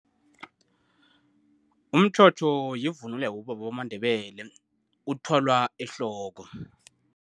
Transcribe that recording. Umtjhotjho yivunulo yabobaba bamaNdebele. Uthwalwa ehloko.